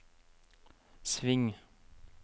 sving